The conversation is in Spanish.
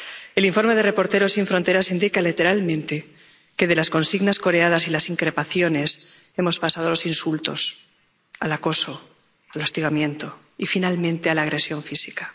El informe de Reporteros sin Fronteras indica literalmente que de las consignas coreadas y las increpaciones hemos pasado a los insultos, el acoso y el hostigamiento y, finalmente, a la agresión física.